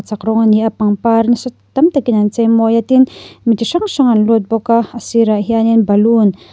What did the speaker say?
rawng ani a pangpar nasa tam takin an chei mawi a tin mi ti hrang hrang an lut bawk a a sirah hianin baloon --